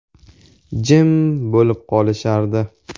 Jim bo‘lib qolishardi.